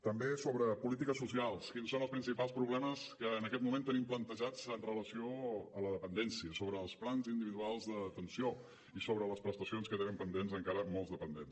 també sobre polítiques socials quins són els principals problemes que en aquest moment tenim plantejats amb relació a la dependència sobre els plans individuals d’atenció i sobre les prestacions que tenen pendents encara molts dependents